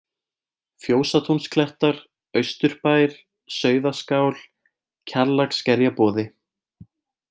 Fjósatúnsklettar, Austurbær, Sauðaskál, Kjallaksskerjaboði